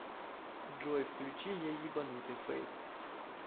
джой включи я ебанутый фэйс